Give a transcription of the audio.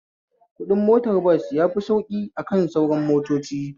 Kuɗin motar bas yafi sauƙi akan sauran motocin